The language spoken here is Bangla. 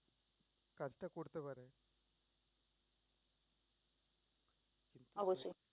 অবশ্যই